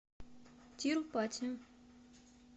тирупати